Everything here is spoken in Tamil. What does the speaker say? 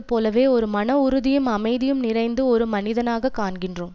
போலவே ஒரு மனவுறுதியும் அமைதியும் நிறைந்த ஒரு மனிதனாகக் காண்கின்றோம்